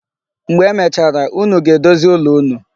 Mgbe emechara, unu ga-edozi ụlọ unu.